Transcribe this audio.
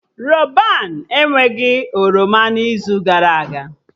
Rọban enweghị oroma n'izu gara aga